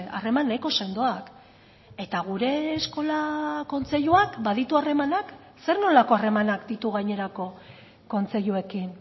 harreman nahiko sendoak eta gure eskola kontseiluak baditu harremanak zer nolako harremanak ditu gainerako kontseiluekin